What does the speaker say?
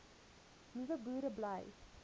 nuwe boere bly